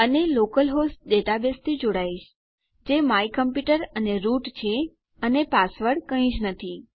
અને local host ડેટાબેઝથી જોડાઈશ જે માય કમપ્યુટર અને રૂટ છે અને પાસવર્ડ કઈ જ નથી